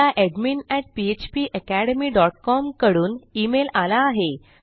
मला एडमिन फ्पाकॅडमी dot com कडून ईमेल आला आहे